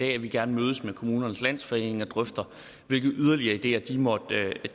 at vi gerne mødes med kommunernes landsforening og drøfter hvilke yderligere ideer de måtte